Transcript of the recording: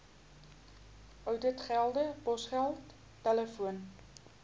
ouditgelde posgeld telefoon